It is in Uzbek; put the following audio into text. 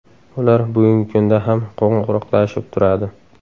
Ular bugungi kunda ham qo‘ng‘iroqlashib turadi.